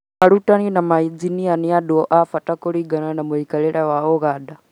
Arigitani na mainjinia nĩ andũ abata kũringana na mũikarĩre wa Ũganda